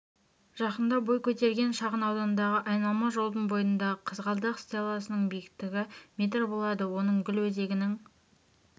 жақында бой көтерген шағын аудандағы айналма жолдың бойындағы қызғалдақ стелласының биіктігі метр болады оның гүл өзегінің